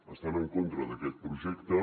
estan en contra d’aquest projecte